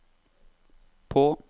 på